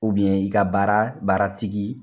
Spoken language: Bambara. i ka baara baara tigi